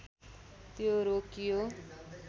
त्यो रोकियो